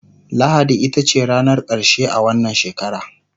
lahadi itace ranar karshe a wannan shekara